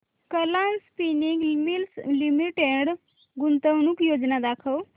Kalam spinning mills limited गुंतवणूक योजना दाखव